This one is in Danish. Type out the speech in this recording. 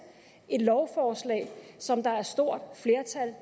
et lovforslag som der er et stort flertal